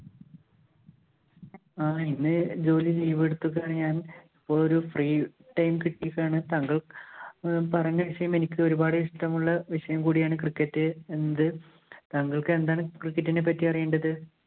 ആഹ് ഇന്ന് ജോലി leave എടുത്തിക്കുവാണ് ഞാന്‍. ഒരു free time കിട്ടിയപ്പോഴാണ് താങ്കള്‍ പറഞ്ഞ വിഷയം എനിക്ക് ഒരുപാട് ഇഷ്ടമുള്ള വിഷയം കൂടിയാണ് cricket എന്ത് താങ്കള്‍ക്ക് എന്താണ് cricket ഇനെ പറ്റി അറിയേണ്ടത്?